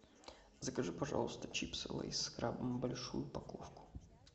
закажи пожалуйста чипсы лейс с крабами большую упаковку